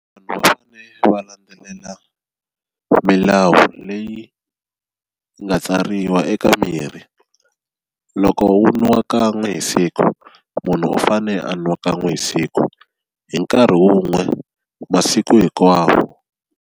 Vanhu va fane va landzelela milawu leyi nga tsariwa eka mirhi loko wu nwa kan'we hi siku munhu u fane a nwa kan'we hi siku hi nkarhi wun'we masiku hinkwawo.